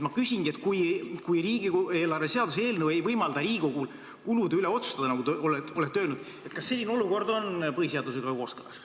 Ma küsingi, et kui riigieelarve seaduse eelnõu ei võimalda Riigikogul kulude üle otsustada, nagu te olete öelnud, kas siis selline olukord on põhiseadusega kooskõlas.